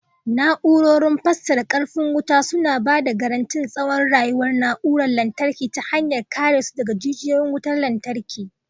Na'urar fasarar karfin wuta suna ba da garantin tsawon rayuwar na'urorin lantarki ta hanyar kare su daga jujjuyawar wutar lantarki.